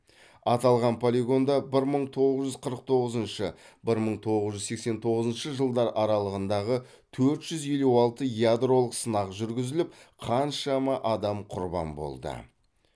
аталған полигонда бір мың тоғыз жүз қырық тоғызыншы бір мың тоғыз жүз сексен тоғызыншы жылдар аралығындағы төрт жүз елу алты ядролық сынақ жүргізіліп қаншама адам құрбан болды